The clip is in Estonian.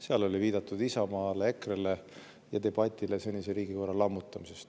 Seal oli viidatud Isamaale, EKRE-le ja debatile senise riigikorra lammutamisest.